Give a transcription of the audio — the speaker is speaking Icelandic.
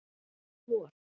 vor